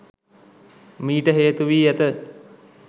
මීට හේතු වී ඇත